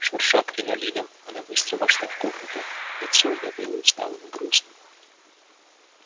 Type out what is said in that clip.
шурша кринолином она быстро вошла в комнату лицо её было усталым и грустным